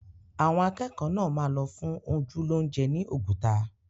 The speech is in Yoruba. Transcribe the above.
Àwọn akẹ́kọ̀ọ́ náà máa lọ fún ojú lóúnjẹ ni Oguta